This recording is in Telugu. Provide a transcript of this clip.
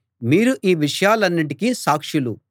మీరు ఈ విషయాలన్నిటికీ సాక్షులు